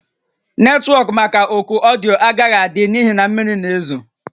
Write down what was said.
Netwọk maka oku ọdịyo a agaghị ada n'ihi na mmiri na-ezo